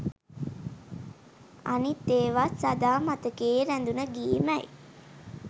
අනිත් ඒවත් සදා මතකයේ රැඳුන ගී මැයි